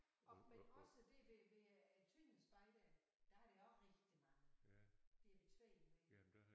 Og men også det det ved øh Tønder Spejder der har de også rigtig mange det er min svoger med i